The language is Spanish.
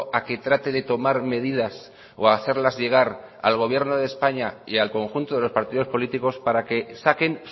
a que trate de tomar medidas o hacerlas llegar al gobierno de españa y al conjunto de los partidos políticos para que saquen